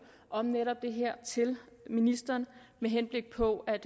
om netop det her til ministeren med henblik på at